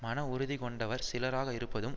மன உறுதி கொண்டவர் சிலராக இருப்பதும்